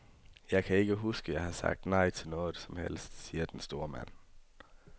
Jeg kan ikke huske, at jeg har sagt nej til noget som helst, siger den store mand.